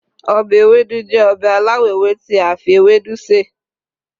obe Ewédú jẹ obe alawọ ewe ti a fi ewédu sè